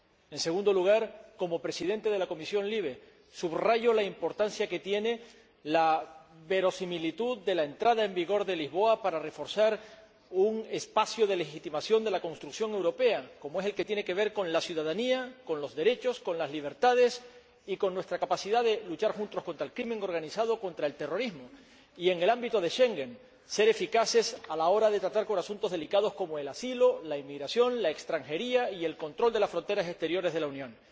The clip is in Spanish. En segundo lugar, como Presidente de la Comisión de Libertades Civiles, Justicia y Asuntos de Interior, subrayo la importancia que tiene la verosimilitud de la entrada en vigor del Tratado de Lisboa para reforzar un espacio de legitimación de la construcción europea como es el que tiene que ver con la ciudadanía, con los derechos, con las libertades y con nuestra capacidad de luchar juntos contra el crimen organizado y contra el terrorismo, y, en el ámbito del Tratado de Schengen, para ser eficaces a la hora de tratar asuntos delicados como el asilo, la inmigración, la extranjería y el control de las fronteras exteriores de la Unión.